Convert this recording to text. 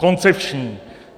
Koncepční!